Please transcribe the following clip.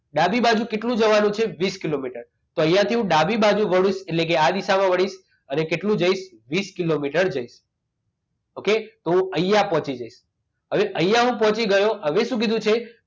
ડાબી બાજુ કેટલુ જવાનું છે વીસ કિલોમીટર તો અહીંયા થી હું ડાબી બાજુ વડુ એટલે કે આ દિશામાં વળી અને કેટલું જઈશ તો વીસ કિલોમીટર જઈશ okay તો અહીંયા પહોંચી જઈશ હવે અહીંયા હું પહોંચી ગયો હવે શું કીધું છે